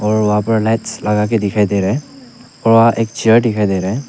और वहां पर लाइट्स लगा के दिखाई दे रहा है और एक चेयर दिखाई दे रहा है।